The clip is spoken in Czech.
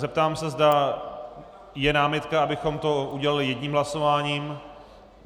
Zeptám se, zda je námitka, abychom to udělali jedním hlasováním.